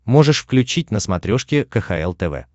можешь включить на смотрешке кхл тв